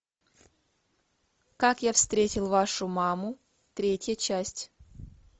как я встретил вашу маму третья часть